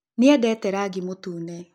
Nĩedete rangĩ mũtũne.